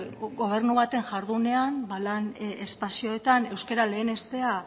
gobernu baten jardunean lan espazioetan euskara lehenestea